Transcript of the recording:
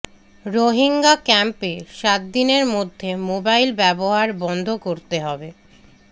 রোহিঙ্গা ক্যাম্পে সাতদিনের মধ্যে মোবাইল ব্যবহার বন্ধ করতে হবে